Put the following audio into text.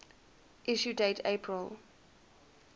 issue date april